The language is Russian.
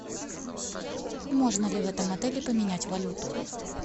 можно ли в этом отеле поменять валюту